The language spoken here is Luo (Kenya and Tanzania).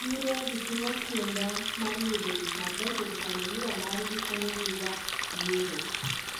E chiro ji timo kinda mar yudo gikmabecho to familia margi konyogiga yiero.